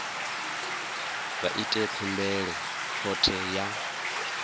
vha ite khumbelo khothe ya